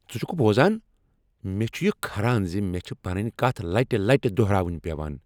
ژٕ چھکہٕ بوزان؟ مےٚ چھ یہ کھران ز مےٚ چھےٚ پنٕنۍ کتھ لٹہ لٹہ دہراوٕنۍ پٮ۪وان۔